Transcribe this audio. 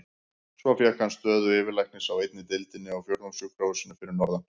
Svo fékk hann stöðu yfirlæknis á einni deildinni á Fjórðungssjúkrahúsinu fyrir norðan.